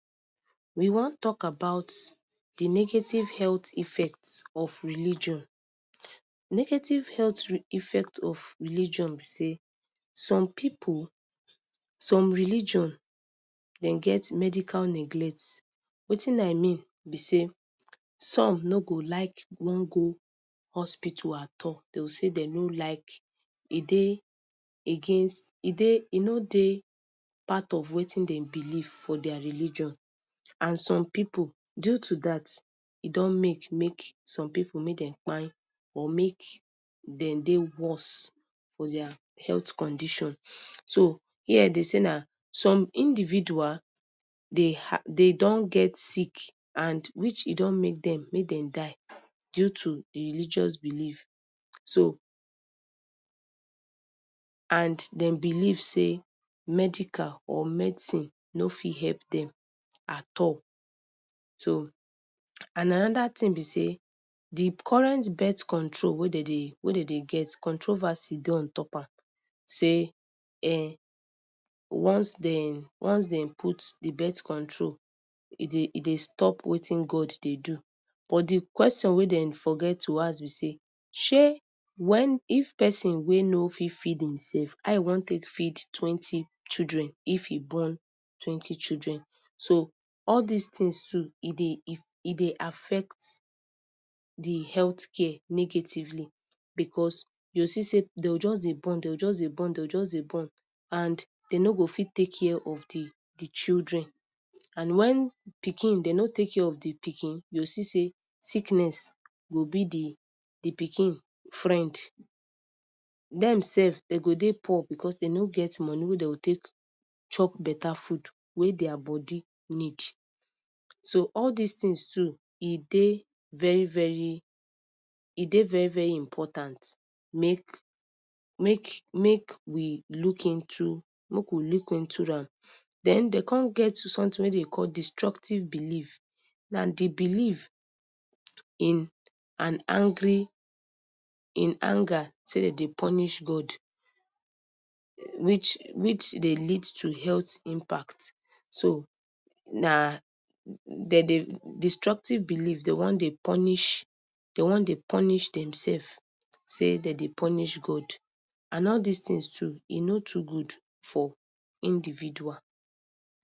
We wan tok about di negative healt effect of religion. Negative health effect of religion be say some pipu, some religion dem get medical neglect. Wetin I mean be say, some no go like wan go hospital at all, dey go say dey no like, e dey against, e dey, e no dey part of wetin dem believe for dia religion and some pipu due to dat, e don make make some pipu make dem kpai or make dem dey worse for dia health condition. So here dey say na some individual dey dey don get sick and which e don make dem make dem die due to di religious belief. So and dem believe say medical or medicine no fit hep dem at all. And anoda ting be say, di current bet control wey dey dey wey dey dey get controversy dey ontop am say once dem once dem put di bet control, e dey stop wetin God dey do but di question wey dem forget to ask be say, shey wen if pesin wey no fit feed himsef how e wan take feed twenty children if e born twenty children. So all dis tins too e dey e dey affect di healt care negatively becos you go see say dey go just dey born dey go just dey born dey gp just dey born and dey no go fit take care of di di children and wen pikin dey no take care of di pikin you go see say sickness go be di pikin friend. Dem sef dey go dey poor becos dey no get money wey dey go take chop beta food wey dia body need so all dis tins too e dey very very e dey very very important make make make we look into make we look into am. Den, dey come get sometin wey dey dey call destructive belief. Na di belief in an angry, in anger say dem dey punish God which which dey lead to health impact. So na dem dey destructive belief dey wan dey punish dey wan dey punish demselfs say dem dey punish God and all dis tins too, e no too good for individual